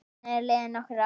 Síðan eru liðin nokkur ár.